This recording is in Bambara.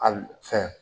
Ali fɛn